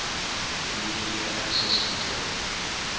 media access control